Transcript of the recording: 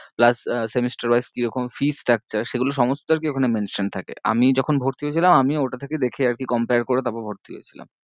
plus ah semester wise কিরকম fee structure সেগুলো সমস্ত আর কি ওখানে mentioned থাকে, আমি যখন ভর্তি হয়েছিলাম আমিও ওটা থেকেই দেখে আর কি compare করে তারপর ভর্তি হয়েছিলাম।